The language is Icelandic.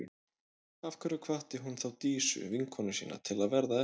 Af hverju hvatti hún þá Dísu, vinkonu sína, til að verða eftir?